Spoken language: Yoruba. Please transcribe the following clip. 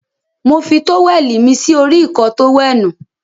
Mo fi tówẹ̀lì mí sí orí Ìkọ́ọ tówẹ́ẹ̀nù.